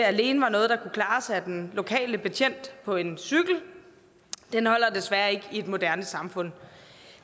alene var noget der kunne klares af den lokale betjent på en cykel holder desværre ikke i et moderne samfund